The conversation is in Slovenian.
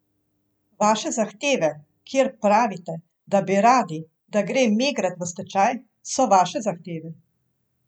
Vaše zahteve, kjer pravite, da bi radi, da gre Megrad v stečaj, so vaše zahteve.